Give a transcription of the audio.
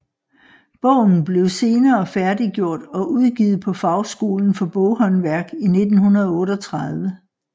Bogen blev senere færdiggjort og udgivet på Fagskolen for Boghåndværk i 1938